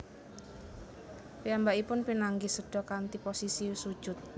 Piyambakipun pinanggih seda kanthi posisi sujud